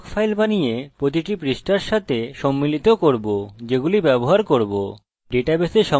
এখন একটি পৃথক ফাইল বানাবো এবং প্রতিটি পৃষ্ঠার সাথে সম্মিলিত করব যেগুলি ব্যবহার করব